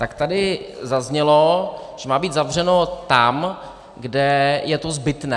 Tak tady zaznělo, že má být zavřeno tam, kde je to zbytné.